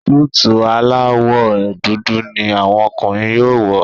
Súìtì alawọ dúdú ní àwọn ọkùnrin yóò wọ.